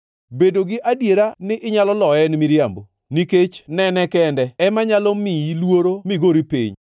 Bedo gi adiera ni inyalo loye en miriambo; nikech nene kende ema nyalo miyi luoro migori piny.